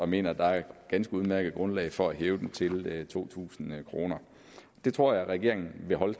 mener der er et ganske udmærket grundlag for at hæve det til to tusind kroner det tror jeg regeringen vil holde